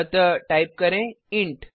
अतः टाइप करें इंट